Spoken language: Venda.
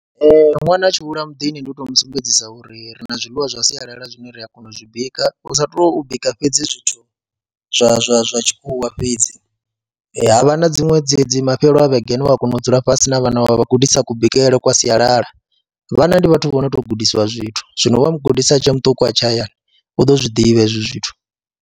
Ee, ṅwana a tshi hula muḓini ndi u tou mu sumbedzisa uri ri na zwiḽiwa zwa sialala zwine ri a kona u zwi bika hu sa tou bika fhedzi zwithu zwa zwa zwa tshikhuwa fhedzi, ha vha na dziṅwe dzedzi mafhelo a vhege ane u ya kona u dzula fhasi na vhana vha vha gudisa kubikele kwa sialala, vhana ndi vhathu vho no tou gudisiwa zwithu, zwino vha mu gudisa a tshi ya muṱuku a tshe hayani u ḓo zwi ḓivha hezwi zwithu.